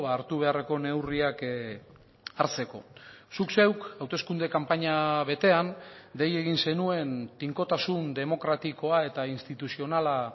hartu beharreko neurriak hartzeko zuk zeuk hauteskunde kanpaina betean dei egin zenuen tinkotasun demokratikoa eta instituzionala